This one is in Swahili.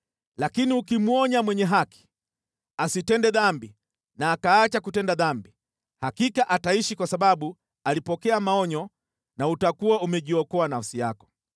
Lakini ukimwonya mwenye haki asitende dhambi na akaacha kutenda dhambi, hakika ataishi kwa sababu alipokea maonyo na utakuwa umejiokoa nafsi yako.”